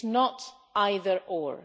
It is not either or.